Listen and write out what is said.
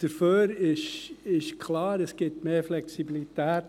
Dafür ist klar, es gibt mehr Flexibilität.